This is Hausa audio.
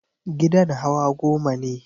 Gidan hawa goma ne.